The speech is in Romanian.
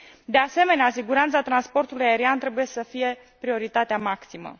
De asemenea, siguranța transportului aerian trebuie să fie prioritatea maximă.